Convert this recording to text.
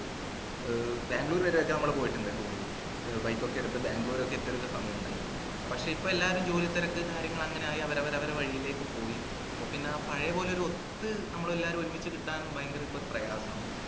ഏർ ബാംഗ്ലൂര് വരെ ഒക്കെ നമ്മൾ പോയിട്ടുണ്ട് tour ഏർ bike ഒക്കെ എടുത്ത് ബാംഗ്ളൂർഒക്കെ എത്തിയൊരു സമയുണ്ടായിന് പക്ഷേ ഇപ്പോൾ എല്ലാരും ജോലി തിരക്ക് കാര്യങ്ങൾ അങ്ങാനായി അവരവരെ വഴിയിലേക്കും പോയി അപ്പോ പിന്നെ പഴയപോലെ ഒരു ഒത്ത് നമ്മളെല്ലാവരും ഒരുമിച്ച് കിട്ടാനും ഭയങ്കര പ്രയസാണ്